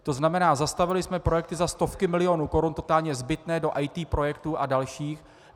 To znamená, zastavili jsme projekty za stovky milionů korun, totálně zbytné, do IT projektů a dalších.